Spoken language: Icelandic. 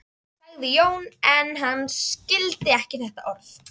sagði Jón, eins og hann skildi ekki þetta orð.